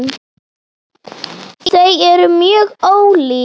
Þau eru mjög ólík.